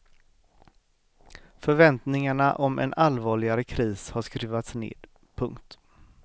Förväntningarna om en allvarligare kris har skruvats ned. punkt